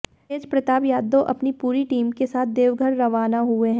तेजप्रताप यादव अपनी पूरी टीम के साथ देवघर रवाना हुए हैं